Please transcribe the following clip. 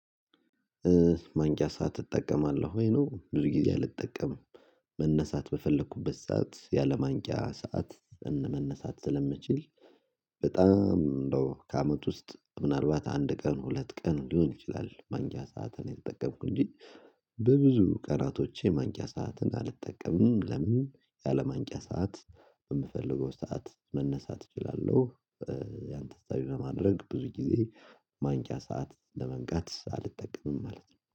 ማንቂያ ሰዓት እጠቀማለሁ ወይ? ነው ብዙ ጊዜ አልጠቀምም። መነሳት በፈለኩበት ሰዓት፤ ያለምንቂያ ሰዓት መነሳት ስለምችል በጣም እንደው ከአመት ውስጥ፤ ምናልባት አንድ ቀን ሁለት ቀን ሊሆን ይችላል፤ ማንጊያ ሰዓትን የተጠቀምኩኝ። እንጂ በብዙ ቀራቶቼ ማንጊያ ሰዓትን አልጠቀምንም ለምን ያለምንቂያ ሰዓት የምፈልገው ሰዓት መነሳት እችላለሁ። ያን ታሳቢ በማድረግ ብዙ ጊዜ ማንቂያ ሰዓት ለመንቃት አልጠቀምም ማለት ነው።